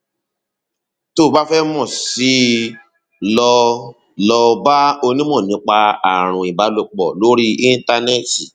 tó o bá fẹ mọ sí i lọ i lọ bá onímọ nípa ààrùn ìbálòpọ lórí íńtánẹẹtì